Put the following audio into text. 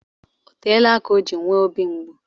Oteela aka o ji nwee obi mgbu.